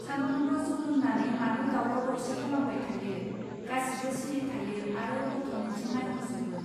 सानफ्रोमबो जौ लोंनानै मानो दावराव दावसि खालामबाय थायो! गासिबो सिरि थायो आरो गथ'निथिं नायहरजोबो.